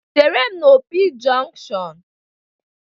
Chere m na Opi jọnkushọn!